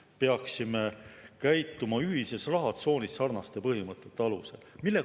Me peaksime käituma ühises rahatsoonis sarnaste põhimõtete alusel.